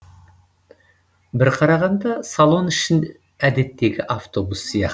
бір қарағанда салон іші әдеттегі автобус сияқты